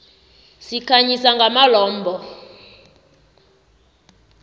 sikhanyisa ngamalombha